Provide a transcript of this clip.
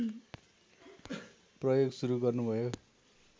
प्रयोग सुरु गर्नुभयो